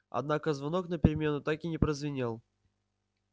однако звонок на перемену так и не прозвенел